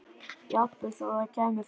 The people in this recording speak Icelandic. Jafnvel þó það kæmi frá